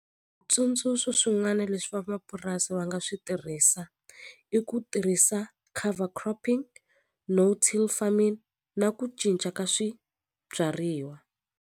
swin'wana leswi vamapurasi va nga swi tirhisa i ku tirhisa cover cropping farming na ku cinca ka swibyariwa.